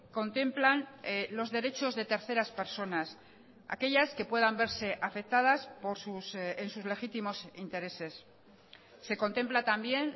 contemplan los derechos de terceras personas aquellas que puedan verse afectadas en sus legítimos intereses se contempla también